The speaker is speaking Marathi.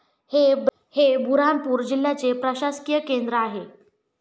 हे बुऱ्हाणपूर जिल्ह्याचे प्रशासकीय केंद्र आहे.